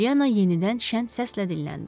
Polyanna yenidən şən səslə dilləndi.